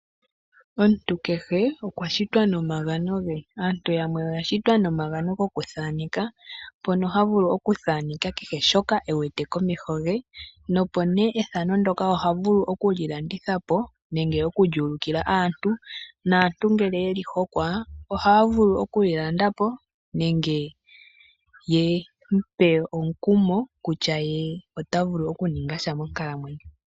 Omuntu kehe okwa shitwa nomagano ge. Aantu yamwe oya shitwa nomagano gokuthaaneka mpono ha vulu okuthaaneka kehe shoka e wete komeho ge, opo nee ethano ndoka oha vulu okuli landitha po nenge okuli ulikila aantu, naantu ngele yeli hokwa ohaya vulu okuli landa po nenge yemupe omukumo kutya ye ota vulu okuninga sha monkalamwenyo.